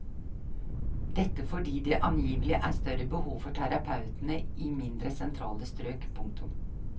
Dette fordi det angivelig er større behov for terapeutene i mindre sentrale strøk. punktum